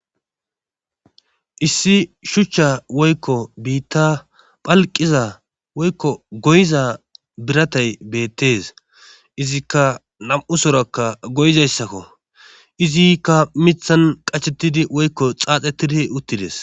issi shuchcha woykko biitta phalqiza woykko goyiza biratay beettes izikka nam7u sorakka goyizayssakko izikka mithan qachettidi woykko xaaxetidi uttides